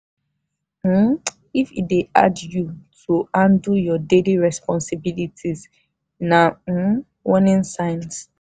um if e de hard you to handle your daily responsibilities na um warning sign.